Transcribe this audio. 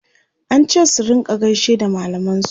an ce su rinka gaishe da mallaman su